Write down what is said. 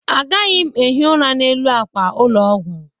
Agaghị m ehi ụra n'elu àkwà ụlọ ọgwụ.